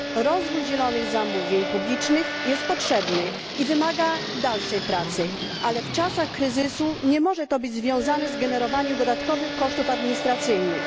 Rozwój zielonych zamówień publicznych jest potrzebny i wymaga dalszej pracy, ale w czasach kryzysu nie może to być związane z generowaniem dodatkowych kosztów administracyjnych.